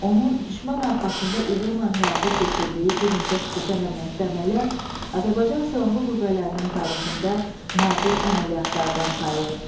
Onun düşmən arxasında uğurla həyata keçirdiyi bir neçə xüsusi əhəmiyyətli əməliyyat Azərbaycan Silahlı Qüvvələrinin tarixində nadir əməliyyatlardan sayılır.